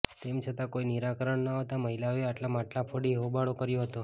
તેમ છતા કોઈ નિરાકરણ ન આવતા મહિલાઓએ માટલા ફોડી હોબાળો કર્યો હતો